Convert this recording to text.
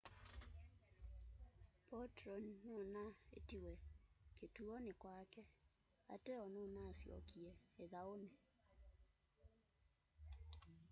potro nunaiitiwe kituoni kwake ateo nunasyokie ithauni